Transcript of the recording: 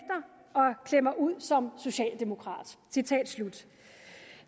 jeg mig ud som socialdemokrat